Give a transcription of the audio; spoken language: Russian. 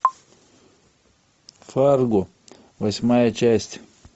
фарго восьмая часть